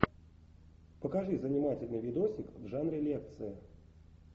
покажи занимательный видосик в жанре лекция